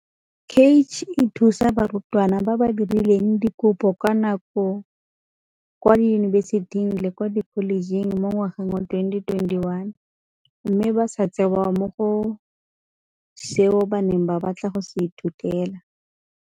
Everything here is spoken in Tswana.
CACH e thusa barutwana ba ba dirileng dikopo ka nako kwa diyunibesiting le kwa dikholejeng mo ngwageng wa 2021 mme ba sa tseewa mo go seo ba neng ba batla go se ithutela.